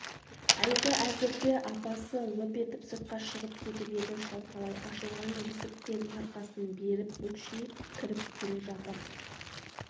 әлгі әзірде апасы лып етіп сыртқа шығып кетіп еді шалқалай ашылған есіктен арқасын беріп бүкшиіп кіріп келе жатыр